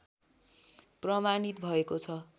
प्रमाणित भएको छ